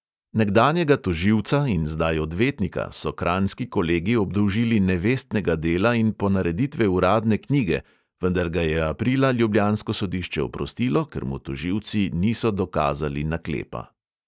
Nekdanjega tožilca in zdaj odvetnika so kranjski kolegi obdolžili nevestnega dela in ponareditve uradne knjige, vendar ga je aprila ljubljansko sodišče oprostilo, ker mu tožilci niso dokazali naklepa.